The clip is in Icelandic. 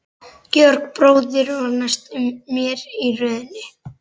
Georg bróðir var næstur mér í röðinni.